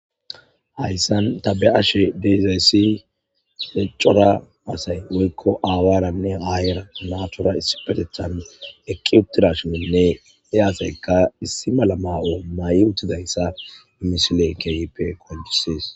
Hayssan ta be'ashe de'izayssi cora asay woykko aawaranne aayera naatura isipetethan eqqi uttidashininne he asayka issi mala ma'o ma'i uttidayssa misiley keehippe qoncises.